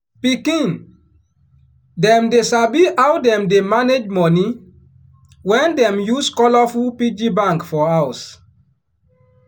pikin dem dey sabi how dem dey manage money when dem use colourful piggy bank for house.